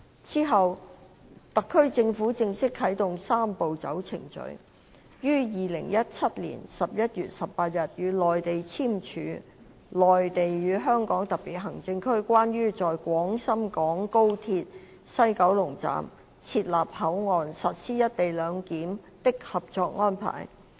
之後，香港特區政府正式啟動"三步走"程序，於2017年11月18日與內地簽署《內地與香港特別行政區關於在廣深港高鐵西九龍站設立口岸實施"一地兩檢"的合作安排》。